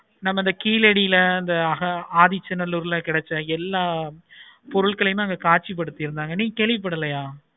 நமக்கு கீழடியில அந்த ஆஹ் ஆதிச்சநல்லூர்ல கிடைச்ச எல்லா பொருட்களையும் அங்க காட்சி படுத்து இருந்தாங்க